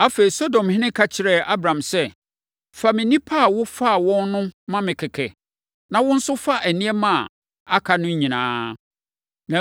Afei, Sodomhene ka kyerɛɛ Abram sɛ, “Fa me nnipa a wofaa wɔn no ma me kɛkɛ, na wo nso, fa nneɛma a aka no nyinaa.”